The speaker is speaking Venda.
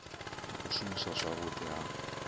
na u shumiswa zwavhudi ha